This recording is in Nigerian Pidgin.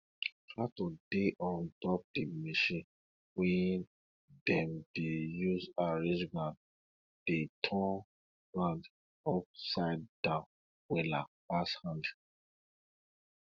tractor dey on top di machine wey dem dey use arrange ground dey turn ground upside down wella pass hand